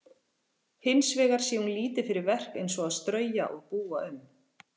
Hins vegar sé hún lítið fyrir verk eins og að strauja og búa um.